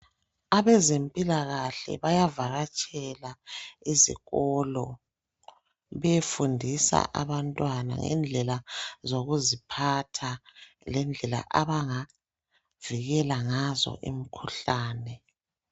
Abezempilakahle bayavakatshela izikolo beyefundisa abantwana ngendlela zokuziphatha lendlela abangavikela ngazo imkhuhlane.